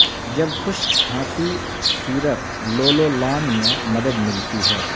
جب خشک کھانسی سیرپ لولولان میں مدد ملتی ہے